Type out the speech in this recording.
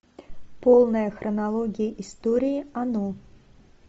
полная хронология истории оно